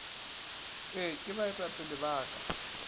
ee ke baetapele ba ka